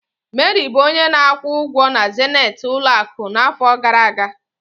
Mary bụ onye na-akwụ ụgwọ na zenith ụlọ akụ n'afọ gara aga.